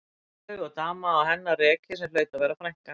Áslaug og dama á hennar reki sem hlaut að vera frænkan.